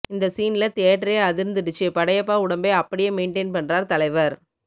இந்த சீன்ல தியேட்டரே அதிர்ந்துடுச்சி படையப்பா உடம்பை அப்படியே மெயின்டெய்ன் பண்றார் தலைவர்